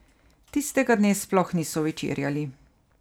Tistega dne sploh niso večerjali.